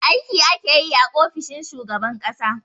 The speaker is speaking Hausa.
Aiki ake yi a ofishin shugaban ƙasa